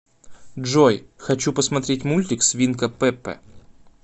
джой хочу посмотреть мультик свинка пепе